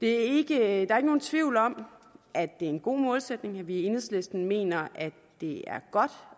er ikke nogen tvivl om at det er en god målsætning og at vi i enhedslisten mener at det er godt